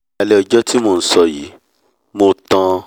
ní alẹ́ ọjọ́ tí mo ń sọ yìí mo tan